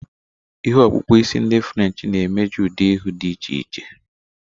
Ihe okpukpu isi ndi French na-emeju ụdị ihu dị iche iche.